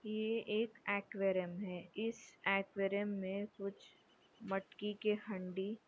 ये एक एक्वेरियम है इस एक्वेरियम मे कुछ मटकी के हंडी--